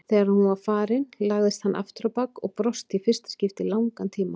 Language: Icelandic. Þegar hún var farin lagðist hann afturábak og brosti í fyrsta skipti í langan tíma.